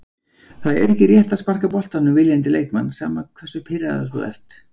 Það er ekki rétt að sparka boltanum viljandi í leikmann, sama hversu pirraður þú ert.